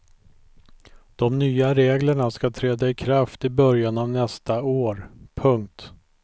De nya reglerna ska träda i kraft i början av nästa år. punkt